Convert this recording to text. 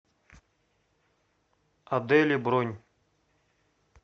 адели бронь